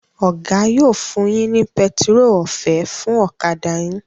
Oga yo fún yín ní pẹtiró ọ̀fẹ́ fún ọ̀kadà yìn.